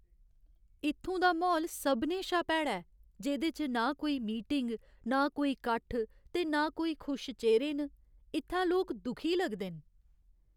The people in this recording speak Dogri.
इत्थूं दा म्हौल सभनें शा भैड़ा ऐ, जेह्दे च ना कोई मीटिंग, नां कोई कट्ठ ते ना कोई खुश चेह्‌रे न। इत्थै लोक दुखी लगदे न।